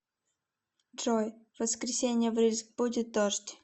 джой в воскресенье в рыльск будет дождь